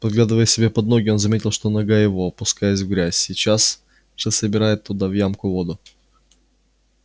поглядывая себе под ноги он заметил что нога его опускаясь в грязь сейчас же собирает туда в ямку воду